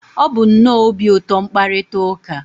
ọ bụ nnọọ obi ụtọ mkparịta ụka